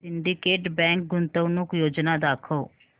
Syndicate Bank गुंतवणूक योजना दाखव